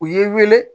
U ye n wele